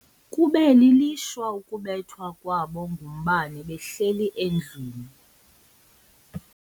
Kube lilishwa ukubethwa kwabo ngumbane behleli endlwini.